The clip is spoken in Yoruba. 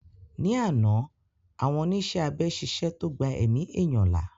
Ní àná àwọn oníṣẹ́ abẹ ṣiṣẹ́ tó gbà èmi ẹ̀yán là